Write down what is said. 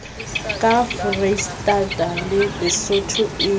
ka foreisetata le lesotho e